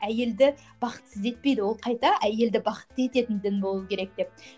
әйелді бақытсыз етпейді ол қайта әйелді бақытты ететін дін болу керек деп